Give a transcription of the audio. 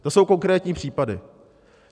To jsou konkrétní příklady.